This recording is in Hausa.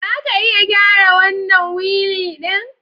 Za ka iya gyara wannan wili ɗin?